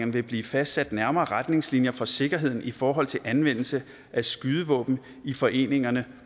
vil blive fastsat nærmere retningslinjer for sikkerheden i forhold til anvendelse af skydevåben i foreningerne